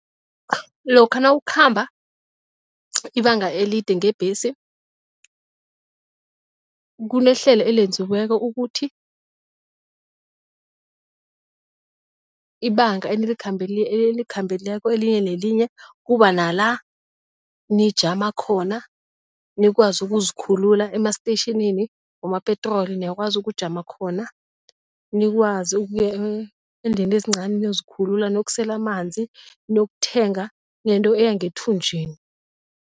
Lokha nawukhamba ibanga elide ngebhesi, kunehlelo elenziweko ukuthi ibanga enilikhambileko elinye nelinye kuba nala nijama khona, nikwazi ukuzikhulula, emastetjhinini wama-petrol niyakwazi ukujama khona, nikwazi ukuya endlini ezincani niyozikhulula, niyokusela amanzi, niyokuthenga nento eya ngethunjini.